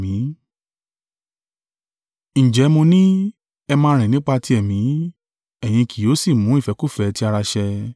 Ǹjẹ́ mo ní, ẹ máa rìn nípa ti Ẹ̀mí, ẹ̀yin kì yóò sì mú ìfẹ́kúfẹ̀ẹ́ ti ara ṣẹ.